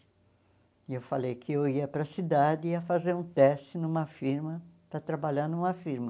E eu falei que eu ia para a cidade, ia fazer um teste numa firma, para trabalhar numa firma.